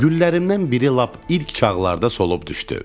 Güllərimdən biri lap ilk çağlarda solub düşdü.